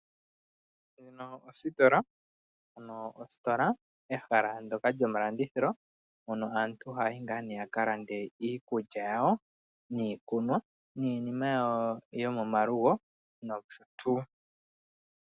Muno omositola ano ositola ehala ndoka lyo malandithilo hoka aantu haya yi ngaa nee yaka lande iikulya yawo niikunwa niinima yawo yomomalugo nosho tuu.